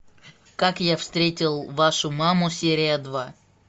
как я встретил вашу маму серия два